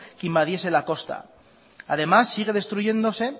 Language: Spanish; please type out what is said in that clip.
que invadiese la costa además sigue destruyéndose